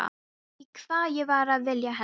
Ég veit ekki hvað ég var að vilja henni.